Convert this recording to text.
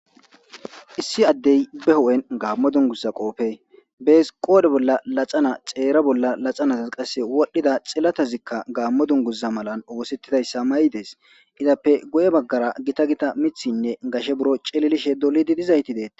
issi addey be ho7en gaammo dunguza qoofe bees qoodhe bolla laxana xeera bolla laxanata qase wodhdhida xillatazikka gaammo dunguza malan oosettidayssa mayi des izappe go7e baggara gita gita mithinne gashe buro celilishe dolidi dizayti deeta